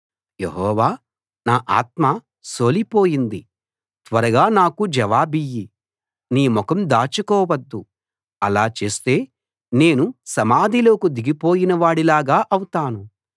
యెహోవా నా ఆత్మ సోలిపోయింది త్వరగా నాకు జవాబియ్యి నీ ముఖం దాచుకోవద్దు అలా చేస్తే నేను సమాధిలోకి దిగిపోయినవాడిలాగా అవుతాను